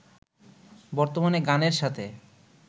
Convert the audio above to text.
বর্তমানে গানের সাথে